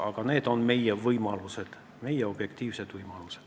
Aga sellised on meie objektiivsed võimalused.